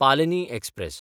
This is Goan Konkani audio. पालनी एक्सप्रॅस